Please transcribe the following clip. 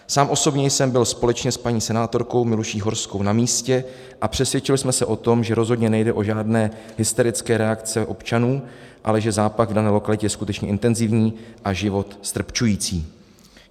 Sám osobně jsem byl společně s paní senátorkou Miluší Horskou na místě a přesvědčili jsme se o tom, že rozhodně nejde o žádné hysterické reakce občanů, ale že zápach v dané lokalitě je skutečně intenzivní a život ztrpčující.